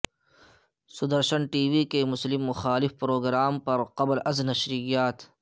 Sudarshan TV کے مسلم مخالف پروگرام پرقبل ازنشریات